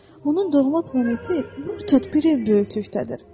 Onun doğma planeti bir ev böyüklükdədir.